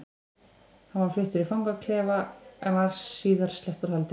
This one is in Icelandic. Hann var fluttur í fangaklefa en var síðar sleppt úr haldi.